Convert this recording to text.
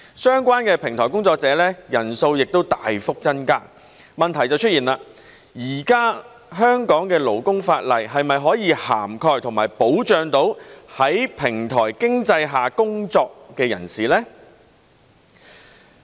相關的平台工作者人數大幅增加，問題便出現了，現時香港的勞工法例是否涵蓋和可否保障到在平台經濟下工作的人士呢？